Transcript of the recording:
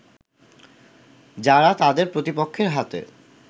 যারা তাদের প্রতিপক্ষের হাতে